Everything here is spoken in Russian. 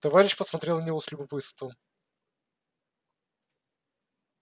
товарищ посмотрел на него с любопытством